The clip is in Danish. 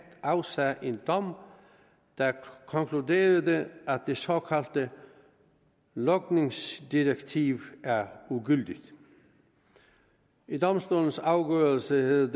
afsagde en dom der konkluderede at det såkaldte logningsdirektiv er ugyldigt i domstolens afgørelse hed